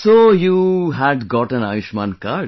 So you had got an Ayushman card